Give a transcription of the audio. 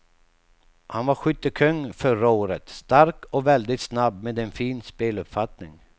Han var skyttekung förra året, stark och väldigt snabb med en fin speluppfattning.